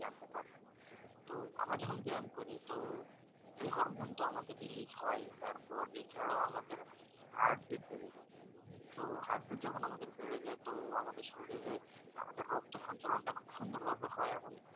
তো আমরা যখন ব্যায়াম করি তো এই হরমোন তো আমাদের release হয়। তারপর এছাড়াও আমাদের heart beat বেড়ে যায় তো heart beat যখন আমাদের বেড়ে যায় তো আমাদের শরীরে আমাদের রক্ত সঞ্চালন টা খুব সুন্দর ভাবে হয় এবং